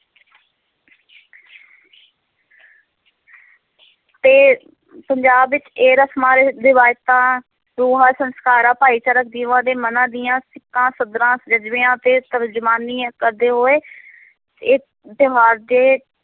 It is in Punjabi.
ਤੇ ਪੰਜਾਬ ਵਿੱਚ ਇਹ ਰਸ਼ਮਾਂ ਰਿ ਰਿਵਾਇਤਾਂ ਰੂਹਾਂ, ਸੰਸਕਾਰਾਂ, ਭਾਈਚਾਰਕ ਜੀਵਾਂ ਦੇ ਮਨਾਂ ਦੀਆਂ ਸਿੱਕਾਂ, ਸਧਰਾਂ, ਜਜ਼ਬਿਆਂ ਅਤੇ ਤਰਜਮਾਨੀ ਕਰਦੇ ਹੋਏ ਇਹ ਤਿਉਹਾਰ ਦੇ